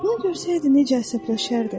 O görsəydi necə əsəbləşərdi!